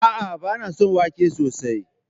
A'a, ba na son wake sosai.